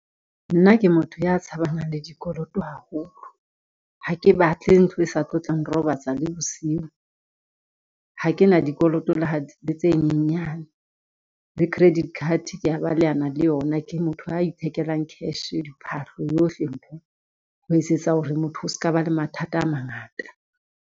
Nna ke motho ya tshabanang le dikoloto haholo. Ha ke batle ntlo e sa tlo tlang robatsa le bosiu. Ha ke na dikoloto le ha le tse nyenyane. Le credit card ke a balehana le yona, ke motho ya ithekelang cash diphahlo yohle ntho, ho etsetsa hore motho o ska ba le mathata a mangata.